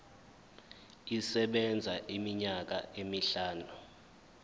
isebenza iminyaka emihlanu